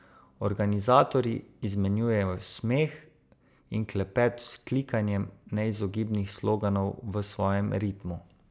Organizatorji izmenjujejo smeh in klepet z vzklikanjem neizogibnih sloganov v svojem ritmu.